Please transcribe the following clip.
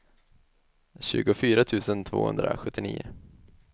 tjugofyra tusen tvåhundrasjuttionio